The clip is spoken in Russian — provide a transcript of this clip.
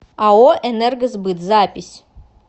ао энергосбыт запись